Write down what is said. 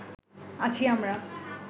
আছি আমরা